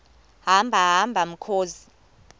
hamba hamba mkhozi